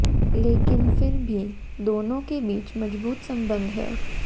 लेकिन फिर भी दोनों के बीच मजबूत संबंध है